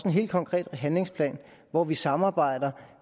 en helt konkret handlingsplan hvor vi samarbejder